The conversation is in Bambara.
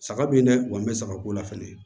Saga b'i dɛ u kɔni bɛ saga ko la fɛnɛ